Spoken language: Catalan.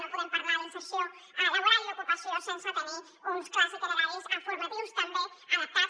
no podem parlar d’inserció laboral i ocupació sense tenir uns clars itineraris formatius també adaptats